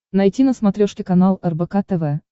найти на смотрешке канал рбк тв